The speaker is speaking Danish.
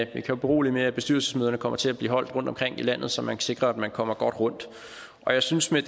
kan berolige med at bestyrelsesmøderne kommer til at blive holdt rundtomkring i landet så man sikrer at man kommer godt rundt jeg synes med